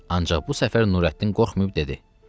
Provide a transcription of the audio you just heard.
Ancaq bu səfər Nurəddin qorxmayıb dedi: